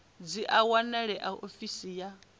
dzi a wanalea ofisini ya